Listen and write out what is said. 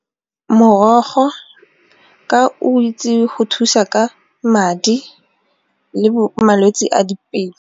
Morogo ka o itse go thusa ka madi le malwetse a dipelo.